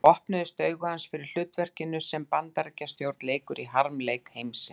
Þá opnuðust augu hans fyrir hlutverkinu sem Bandaríkjastjórn leikur í harmleik heimsins.